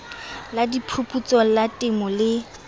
la diphuputso la temo le